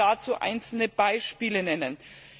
Ich will dazu einzelne Beispiele nennen.